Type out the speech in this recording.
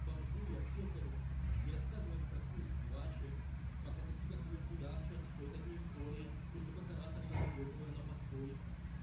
бомжу и аптекарю и рассказывать про курс кваче пока такие как он кудахчат что это не история и что как оратор я заебываю на постой